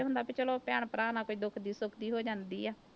ਹੁੰਦਾ ਵੀ ਚਲੋ ਭੈਣ ਭਰਾ ਨਾਲ ਕੋਈ ਦੁੱਖਦੀ ਸੁੱਖਦੀ ਹੋ ਜਾਂਦੀ ਹੈ।